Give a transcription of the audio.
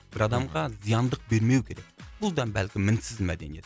бір адамға зияндық бермеу керек бұл да бәлкім мінсіз мәдениет